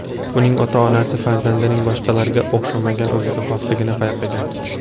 Uning ota-onasi farzandining boshqalarga o‘xshamagan o‘ziga xosligini payqagan.